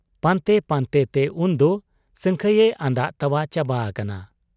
ᱯᱟᱱᱛᱮ ᱯᱟᱱᱛᱮᱛᱮ ᱩᱱᱫᱚ ᱥᱟᱹᱝᱠᱷᱟᱹᱭᱮ ᱟᱸᱫᱟᱜ ᱛᱟᱣᱟᱜ ᱪᱟᱵᱟ ᱟᱠᱟᱱᱟ ᱾